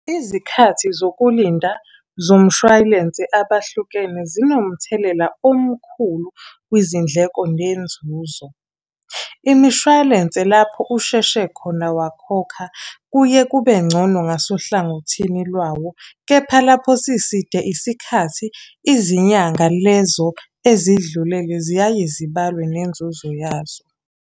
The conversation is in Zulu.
Izikhathi zokulinda zomshwalense abahlukene zinomthelela omkhulu kwizindleko nenzuzo. Imishwalense lapho usheshe khona wakhokha, kuye kube ngcono ngasohlangothini lwawo, kepha lapho siside isikhathi, izinyanga lezo ezidlulele ziyaye zibalwe nenzuzo yazo.